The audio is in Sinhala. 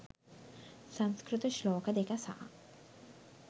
සංස්කෘත ශ්ලෝක දෙක සහ